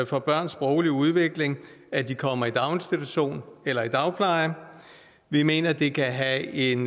for børns sproglige udvikling at de kommer i daginstitution eller i dagpleje vi mener det kan have en